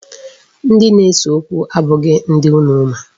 Ndi na-ese okwu abụghị ndị unu ma.